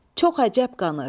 Çox əcəb qanır.